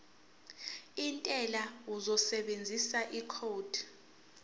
wentela uzosebenzisa ikhodi